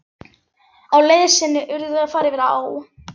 Á leið sinni urðu þau að fara yfir á.